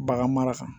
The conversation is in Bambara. Bagan mara kan